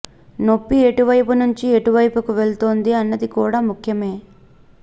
నొప్పి ఎటువెైపు నుంచి ఎటు వెైపుకి వెళుతోంది అన్నది కూడా ముఖ్యమే